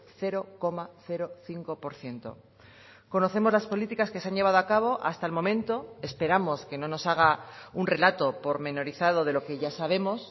cero coma cinco por ciento conocemos las políticas que se han llevado a cabo hasta el momento esperamos que no nos haga un relato pormenorizado de lo que ya sabemos